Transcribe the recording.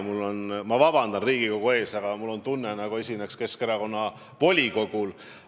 Ma ei tea, palun Riigikogult vabandust, aga mul on tunne, nagu esineksin Keskerakonna volikogul.